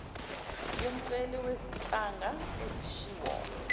yomceli wezinhlanga ezishiwo